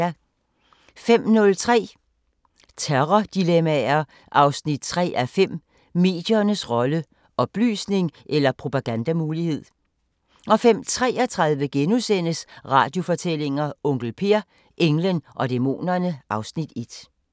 05:03: Terrordilemmaer 3:5 – Mediernes rolle: Oplysning eller propagandamulighed? 05:33: Radiofortællinger: Onkel Per – englen og dæmonerne (Afs. 1)*